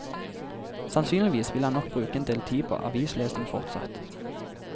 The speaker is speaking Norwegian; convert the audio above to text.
Sannsynligvis vil han nok bruke en del tid på avislesing fortsatt.